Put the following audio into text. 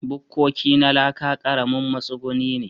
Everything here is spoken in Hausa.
Bukkoki na laka ƙaramin matsuguni ne.